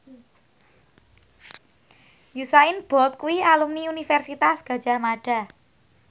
Usain Bolt kuwi alumni Universitas Gadjah Mada